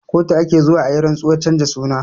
Kotu ake zuwa ayi rantsuwar canza suna